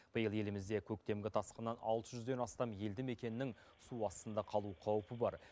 биыл елімізде көктемгі тасқыннан алты жүзден астам елді мекеннің су астында қалу қаупі бар